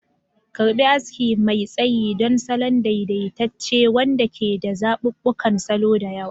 Karɓi aski mai tsayi don salon daidaitacce wanda ke da zaɓuɓɓukan salo da yawa.